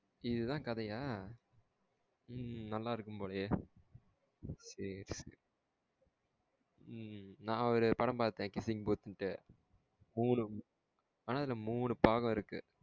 இதுதான் கதையா? ம் ம் நல்லா இருக்கும் போலேயே சேர் சேரி. ம் நான் ஒரு படம் பாத்தன். Kissing booth னுட்டு மூணு ஆனா அதுல மூணு பாகம் இருக்கு.